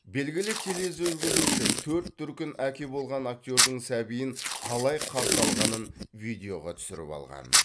белгілі тележүргізуші төрт дүркін әке болған актердің сәбиін қалай қарсы алғанын видеоға түсіріп алған